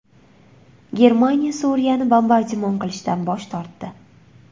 Germaniya Suriyani bombardimon qilishdan bosh tortdi.